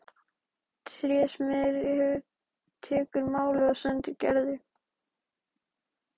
Trésmiður tekur málið og sendir Gerði.